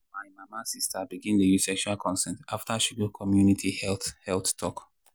my mama sister pikin begin dey use sexual consent after she go community health health talk.